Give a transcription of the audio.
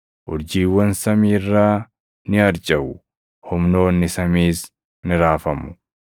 urjiiwwan samii irraa ni harcaʼu; humnoonni samiis ni raafamu.’ + 13:25 \+xt Isa 13:10; 34:4\+xt*